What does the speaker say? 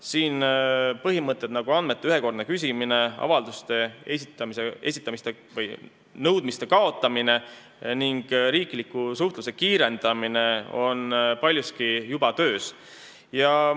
Paljud põhimõtted, nagu andmete ühekordne küsimine, avalduste esitamise või teiste nõudmiste kaotamine ning riikliku suhtluse kiirendamine, on juba töös.